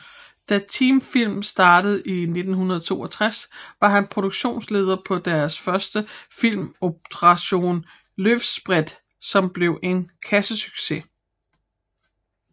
Da Teamfilm startede i 1962 var han produktionsleder på deres første film Operasjon Løvsprett som blev en kassesucces